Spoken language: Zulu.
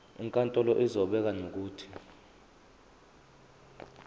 inkantolo izobeka nokuthi